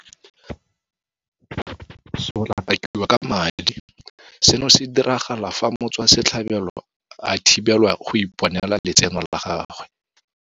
Sotlakakiwa ka madi seno se diragala fa motswasetlhabelo a thibelwa go iponela letseno la gagwe.